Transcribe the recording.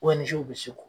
bɛ se k'o